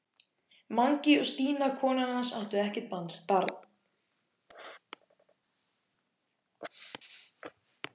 Mangi og Stína konan hans áttu ekkert barn.